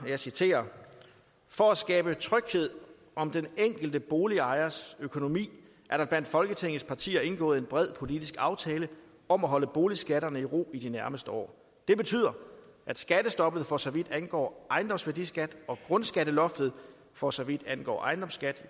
jeg citerer for at skabe tryghed om den enkelte boligejers økonomi er der blandt folketingets partier indgået en bred politisk aftale om at holde boligskatterne i ro i de nærmeste år det betyder at skattestoppet for så vidt angår ejendomsværdiskat og grundskatteloftet for så vidt angår ejendomsskat